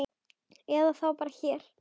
Eða þá bara hér.